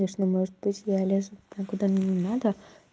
конечно может быть я лезу куда мне не надо